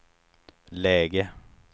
läge